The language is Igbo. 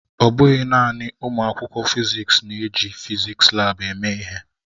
Ọ bụghị naanị ụmụ akwụkwọ fịzịksi na-eji fịzịksi laabu eme ihe.